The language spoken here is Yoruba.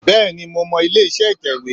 Bẹ́ẹ̀ni mo mọ ilé iṣẹ́ ìtẹ̀wé